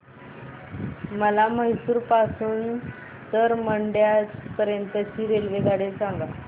मला म्हैसूर पासून तर मंड्या पर्यंत ची रेल्वेगाडी सांगा